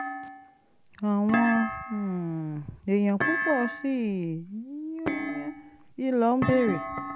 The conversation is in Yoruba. àwọn um èèyàn púpọ̀ sí i ló ń béèrè